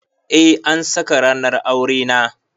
Eh an saka ranar aure na.